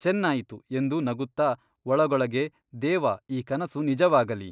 ಚೆನ್ನಾಯಿತು ಎಂದು ನಗುತ್ತಾ ಒಳಗೊಳಗೆ ದೇವ ಈ ಕನಸು ನಿಜವಾಗಲಿ.